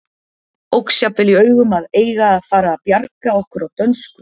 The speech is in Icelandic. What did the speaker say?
Óx jafnvel í augum að eiga að fara að bjarga okkur á dönsku.